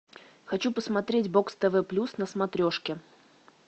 хочу посмотреть бокс тв плюс на смотрешке